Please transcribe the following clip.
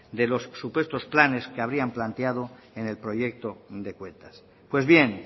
de los supuestos planes que habrían planteado en el proyecto de cuentas pues bien